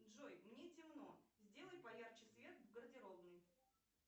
джой мне темно сделай поярче свет в гардеробной